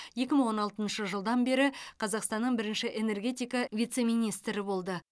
екі мың он алтыншы жылдан бері қазақстанның бірінші энергетика вице министрі болды